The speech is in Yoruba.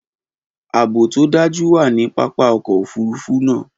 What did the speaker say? Aabo to daju wa ni papa ọkọ ofurufu naa.